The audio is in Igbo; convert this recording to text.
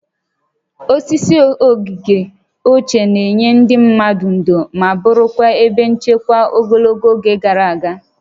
Osisi oge ochie na-enye ndị mmadụ ndò na ma bụrụkwa ebe nchekwa ogologo oge gara aga